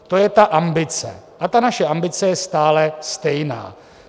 To je ta ambice a ta naše ambice je stále stejná.